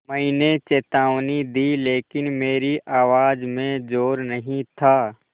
मैंने चेतावनी दी लेकिन मेरी आवाज़ में ज़ोर नहीं था